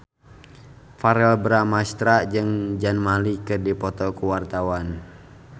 Verrell Bramastra jeung Zayn Malik keur dipoto ku wartawan